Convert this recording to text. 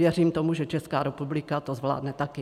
Věřím tomu, že Česká republika to zvládne taky.